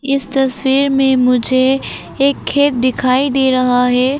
इस तस्वीर में मुझे एक खेत दिखाई दे रहा है।